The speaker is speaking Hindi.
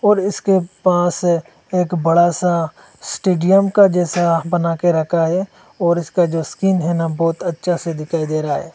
और इसके पास एक बड़ा सा स्टेडियम का जैसा बना के रखा है और इसका जो स्किन है ना बहोत अच्छा से दिखाई दे रहा है।